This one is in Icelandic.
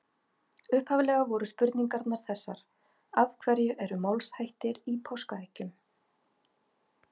Upphaflega voru spurningarnar þessar: Af hverju eru málshættir í páskaeggjum?